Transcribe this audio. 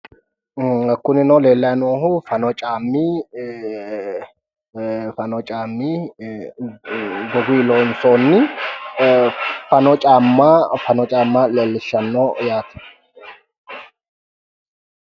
Kunino leellayi noohu fanoo ikkino caammi goguyi loonsoonni caamma fano caamma leellishshanno yaate.